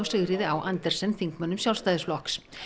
Sigríði á Andersen þingmönnum Sjálfstæðisflokks